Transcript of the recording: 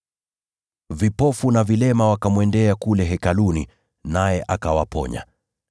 Vipofu na vilema wakamwendea kule Hekaluni, naye akawaponya.